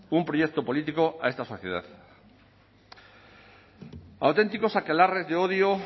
un proyecto político a esta sociedad auténticos aquelarres de odio